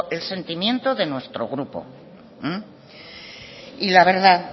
el sentimiento de nuestro grupo y la verdad